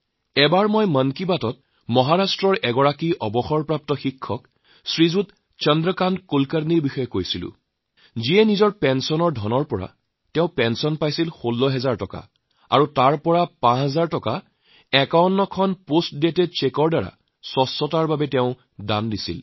এবাৰ মই মন কী বাতত মহাৰাষ্ট্ৰৰ এগৰাকী অৱসৰপ্ৰাপ্ত শিক্ষক শ্ৰীযুক্ত চন্দ্ৰকান্ত কুলকাৰ্ণিৰ কথা কৈছিলোঁ যিগৰাকীয়ে নিজৰ পেন্সনৰ যি ষোল্ল হাজাৰ টকা পায় তাৰ পৰা পাঁচ হাজাৰ টকাকৈ তেওঁ ৫১খন পোষ্টডেটেড চেকৰ জৰিয়তে স্বচ্ছতাৰ বাবে দান কৰিছিল